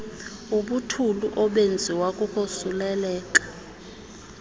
ubuthulu obenziwa kukosuleleka